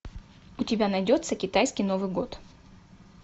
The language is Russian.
у тебя найдется китайский новый год